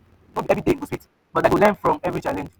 no be every day go sweet but i go learn from every challenge.